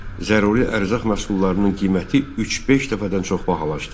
Zəruri ərzaq məhsullarının qiyməti 3-5 dəfədən çox bahalaşdı.